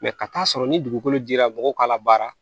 ka taa'a sɔrɔ ni dugukolo dira mɔgɔw k'a labaara